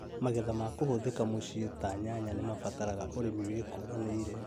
Magetha ma kũhũthĩka mũciĩ ta nyanya nĩmabataraga ũrĩmi wĩkũranĩire